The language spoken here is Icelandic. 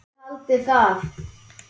Þar kom Ísland vel út.